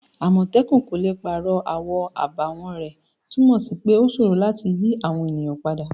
Àmòtẹ́kun kò le pàrọ̀ àwọn àbàwọ́n rẹ̀' túnmọ̀ sí pé ó sòro láti yí àwọn èèyàn padà